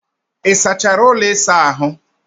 Ị sachara ụlọ ịsa ahụ?